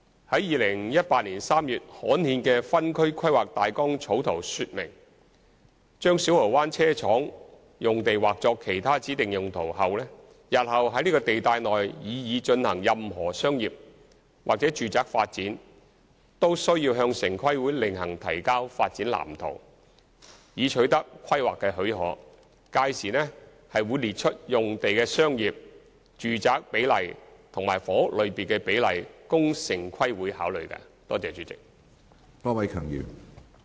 於2018年3月刊憲的分區規劃大綱草圖說明，把小蠔灣車廠用地劃作上述"其他指定用途"後，日後在這地帶內擬議進行任何商業/住宅發展，均須向城規會另行提交發展藍圖，以取得規劃許可，屆時會列出用地的商業/住宅比例和房屋類別比例，供城規會考慮。